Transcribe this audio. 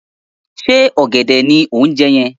Ṣé ọ̀gẹ̀dẹ̀ ni o ń jẹ́ yẹn?